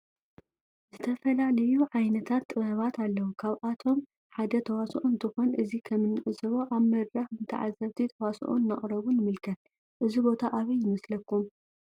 ዝተፈላለዩ ዓይነታት ጥበባት አለው ካብአቶም ሓደ ተዋሶኦ እንትኮን እዚ ከም እንዕዞቦ አብ መድረክ ንታዓዘብቲ ተዋሶኦ እናቅረቡ ንምልከት። እዚ ቦታ አበይ ይመስለኩም?